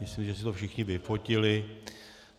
Myslím, že si to všichni vyfotili.